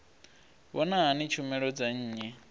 vhona hani tshumelo dza nnyi